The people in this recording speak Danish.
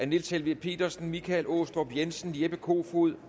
niels helveg petersen michael aastrup jensen jeppe kofod